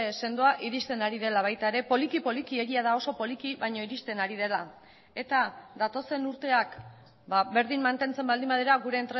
sendoa iristen ari dela baita ere poliki poliki egia da oso poliki baina iristen ari dela eta datozen urteak berdin mantentzen baldin badira gure